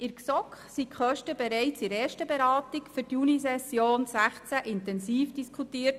In der GSoK wurden die Kosten bereits in der ersten Beratung für die Junisession 2016 intensiv diskutiert.